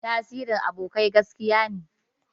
Tasirin abokai gaskiya ne.